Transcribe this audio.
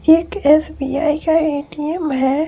ये एक एस_बी_आई का ए_टी_एम हैं ।